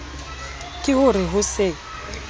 ke ho re ho se